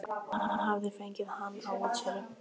Hún hafði fengið hann á útsölu.